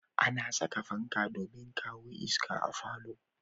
Ana saka fanka domin kawo iska a falo